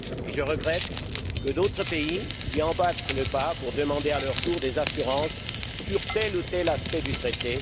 Je regrette que d'autres pays lui emboîtent le pas pour demander à leur tour des assurances sur tel ou tel aspect du Traité.